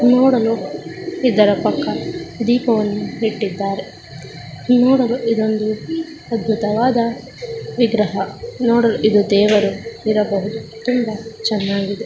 ನೋಡಲು ಇದರ ಪಕ್ಕ ದೀಪವನ್ನು ಇಟ್ಟಿದ್ದಾರೆ ನೋಡಲು ಇದೊಂದು ಅದ್ಭುತವಾದ ವಿಗ್ರಹ ಇದು ದೇವರು ಇರಬಹುದು ತುಂಬಾ ಚೆನ್ನಾಗಿದೆ.